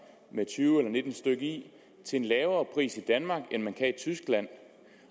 med tyve eller nitten stykke i til en lavere pris i danmark end man kan i tyskland